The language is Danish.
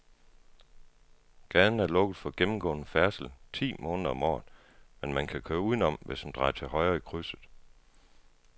Gaden er lukket for gennemgående færdsel ti måneder om året, men man kan køre udenom, hvis man drejer til højre i krydset.